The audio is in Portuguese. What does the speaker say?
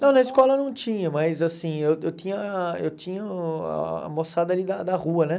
Não, na escola não tinha, mas assim, eu eu tinha eu tinha ah a moçada ali da da rua, né?